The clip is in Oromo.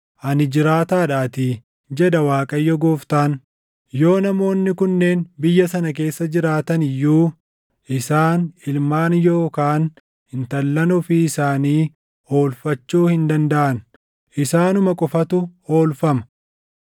ani jiraataadhaatii, jedha Waaqayyo Gooftaan; yoo namoonni kunneen biyya sana keessa jiraatani iyyuu isaan ilmaan yookaan intallan ofii isaanii oolfachuu hin dandaʼan. Isaanuma qofatu oolfama.